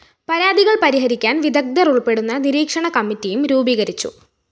പരാതികള്‍ പരിഹരിക്കാന്‍ വിദഗ്ധര്‍ ഉള്‍പ്പെടുന്ന നിരീക്ഷണ കമ്മിറ്റിയും രൂപീകരിച്ചു